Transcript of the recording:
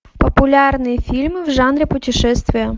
популярные фильмы в жанре путешествия